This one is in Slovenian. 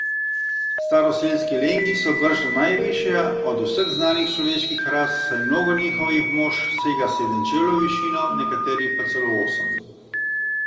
Staroselski Lengi so bržda najvišja od vseh znanih človeških ras, saj mnogo njihovih mož sega sedem čevljev v višino, nekateri pa celo osem.